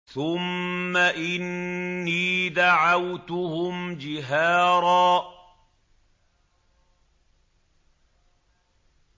ثُمَّ إِنِّي دَعَوْتُهُمْ جِهَارًا